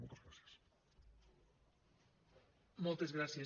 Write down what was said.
moltes gràcies